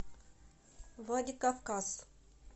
владикавказ